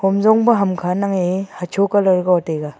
hom jongpa ham kha nangye hacho colours go taiga.